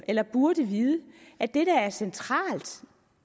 eller burde vide at det der er centralt